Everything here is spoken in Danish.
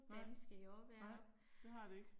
Nej, nej, det har det ikke